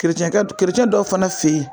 Kerecɛnkɛ kerecɛn dɔw fana fe yen